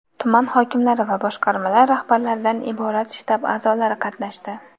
tuman hokimlari va boshqarmalar rahbarlaridan iborat shtab a’zolari qatnashdi.